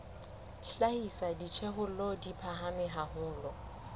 hlahisa dijothollo di phahame haholo